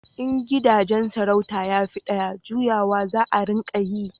in gidajen sarauta ya fi daya, juyawa za a ringa yi